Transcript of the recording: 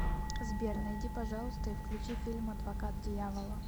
сбер найди пожалуйста и включи фильм адвокат дьявола